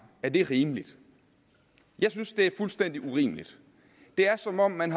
er det rimeligt jeg synes det er fuldstændig urimeligt det er som om man